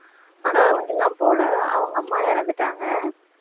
போல அவுங்க அம்மா இறந்துட்டாங்க